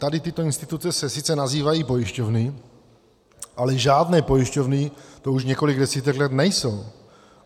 Tady tyto instituce se sice nazývají pojišťovny, ale žádné pojišťovny to už několik desítek let nejsou.